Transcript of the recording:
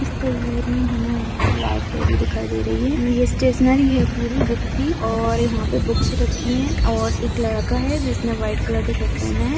इस तस्वीर में हमें यहाँ पे लाईब्रेरी दिखाई दे रही है ये स्टेशनरी है पूरी बुक की और यहाँ पे बुक्स रखी हैं और एक लड़का है जिसने वाइट कलर का शर्ट पहना है।